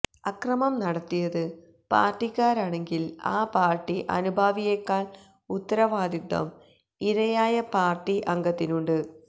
അക്രമം നടത്തിയത് പാർട്ടിക്കാരാണെങ്കിൽ ആ പാർട്ടി അനുഭാവിയെക്കാൾ ഉത്തരവാദിത്തം ഇരയായ പാർട്ടി അംഗത്തിനുണ്ട്